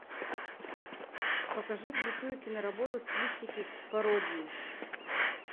покажи крутую киноработу в стилистике пародии